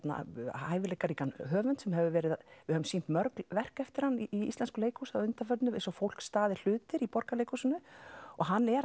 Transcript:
hæfileikaríkan höfund sem hefur verið við höfum sýnt mörg verk eftir hann í íslensku leikhúsi að undanförnu eins og fólk staðir hlutir í Borgarleikhúsinu og hann er